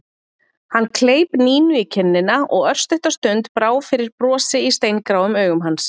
Hann kleip Nínu í kinnina og örstutta stund brá fyrir brosi í steingráum augum hans.